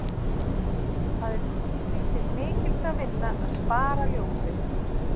Það er því til mikils að vinna að spara ljósið.